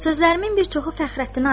Sözlərimin bir çoxu Fəxrəddinə aiddir.